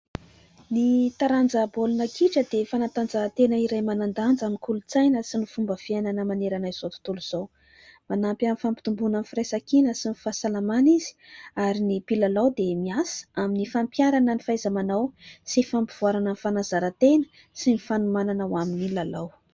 ny taranja baolina kitra dia fanantanjahantena iray manan-danja amin'ny kolontsaina sy ny fomba fiainana manerana izao tontolo izao , manampy amin'ny fampitombona ny firaisankiina sy ny fahasalamana izy ary ny mpilalao dia miasa amin'ny fampiarana ny fahaiza-manao sy fampivoarana ny fanazaran-tena sy ny fanomanana ho amin'ny lalao